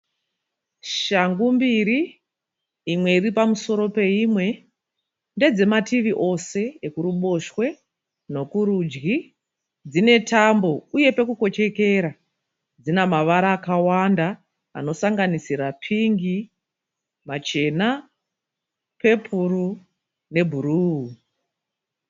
Shangu mbiri imwe iripamusoro peimwe, ndedzemativi ose ekuruboshwe nokurudyi. Dzinetambo uye pekukochekera. Dzinamavara akawanda anosanganisira pingi, machena, pepuro nebhuruu.